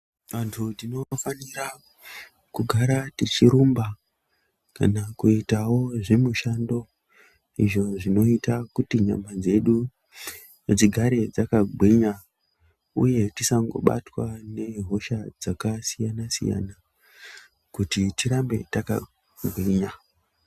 Antu tinofanira kugara tichirumba kana kuitawo zvemishando izvi zvinoita kuti nyama dzedu dzigare dzakagwinga uye tisangobatwa nemikuhlani dzakasiyana siyana kuti tirambe takagwinya.